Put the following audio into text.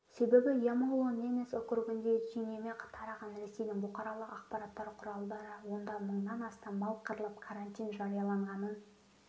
себебі ямало-ненец округінде түйнеме тараған ресейдің бұқаралық ақпараттар құралдары онда мыңнан астам мал қырылып карантин жарияланғанын